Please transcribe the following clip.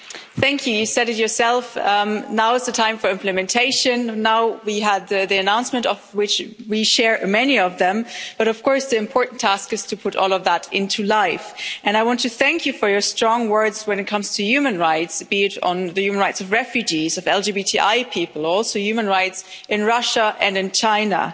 Mr President, President von der Leyen, you said it yourself, now is the time for implementation. Now we had the announcement of which we share many of them, but of course the important task is to put all of that into life, and I want to thank you for your strong words when it comes to human rights, be it on the human rights of refugees, of LGBTI people, also human rights in Russia and in China.